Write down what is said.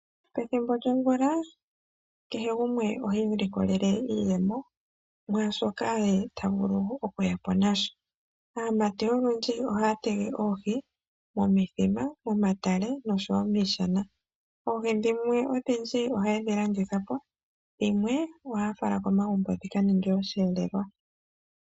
Pethimbo lyomvula kehe gumwe ohii likolele iiyemo mwaashoka yemwene tavulu okuyapo nasho, aamati oyendji ohaa tega oohi momithima, momatale noshoowo miishana, oohi dhimwe ohaye dhi landitha po dho dhimwe taa fala komagumbo dhika ninge osheelelwa.